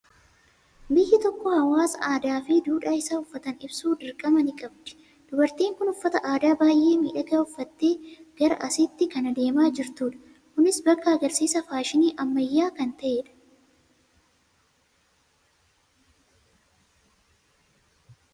Biyyi tokko hawaasa aadaa fi duudhaa isaa uffataan ibsu dirqama ni qabdi. Dubartiin kun uffata aadaa baay'ee miidhagaa uffattee gara asiitti kan adeemaa jirtudha. Kunis bakka agarsiisa fashinii ammayyaa kan ta'edha.